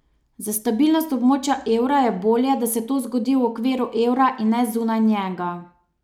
Za stabilnost območja evra je bolje, da se to zgodi v okviru evra in ne zunaj njega.